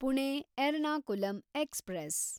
Pune Ernakulam express